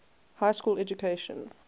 high school education